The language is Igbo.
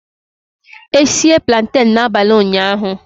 E sie plantain n'abalị ụnyahụ